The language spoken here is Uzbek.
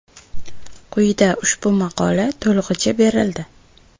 Quyida ushbu maqola to‘lig‘icha berildi.